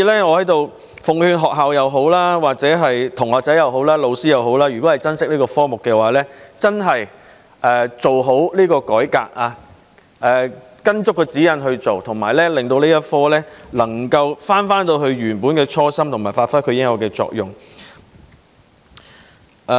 我在此奉勸不論是學校、同學或老師，如果珍惜這個科目，便真的要做好改革，依足指引辦事，令這個科目能夠返回設立該科的初心，以及發揮其應有的作用。